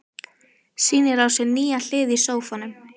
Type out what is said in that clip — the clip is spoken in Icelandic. Sýnir á sér nýja hlið í sófanum.